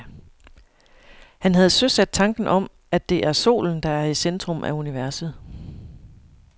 Han havde søsat tanken om, at det er solen, der er i centrum af universet.